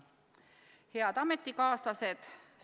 Head ametikaaslased!